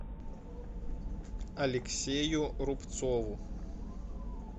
алексею рубцову